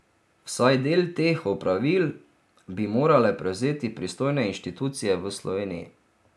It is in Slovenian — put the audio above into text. Vsaj del teh opravil bi morale prevzeti pristojne inštitucije v Sloveniji.